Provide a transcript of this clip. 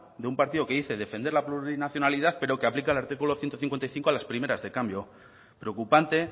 de un partido que dice defender la plurinacionalidad pero que aplica el artículo ciento cincuenta y cinco a las primeras de cambio preocupante